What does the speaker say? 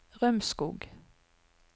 Rømskog